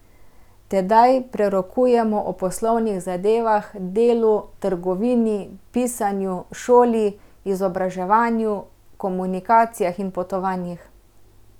Tedaj prerokujemo o poslovnih zadevah, delu, trgovini, pisanju, šoli, izobraževanju, komunikacijah in potovanjih.